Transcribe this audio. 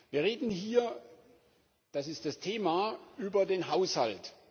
Wir reden hier das ist das Thema über den Haushalt.